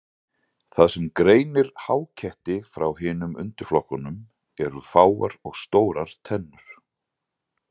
Það sem greinir háketti frá hinum undirflokkunum eru fáar og stórar tennur.